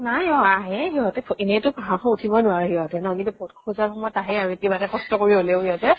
নাই অ আ-হে সিহঁতে ভ এনেই টো পাহাৰ খন উঠিব নোৱাৰে সিহঁতে। নহয় কিন্তু vote খোজাৰ সময়ত আহে আৰু কিবা কে কষ্ট কৰি হলেও সিহঁতে।